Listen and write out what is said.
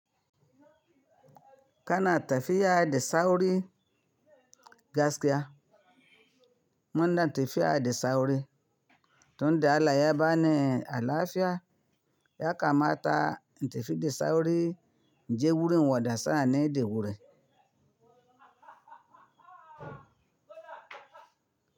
Kana tafiya da sauri gaskiya. Muna tafiya da sauri. Tun da Allah ya bani alafiya, ya kamata in tafi da sauri, in je wurin wadda sani ne da wuri.